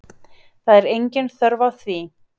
Það er engin þörf á því